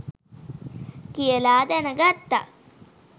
කියලා දැනගත්තා.